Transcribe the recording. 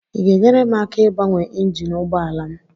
Ị ga-enyere m aka ịgbanwe injin ụgbọ ala m?